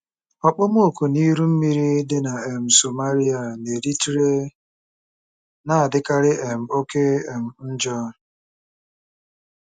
Okpomọkụ na iru mmiri dị na um Somalia na Eritrea na-adịkarị um oke um njọ.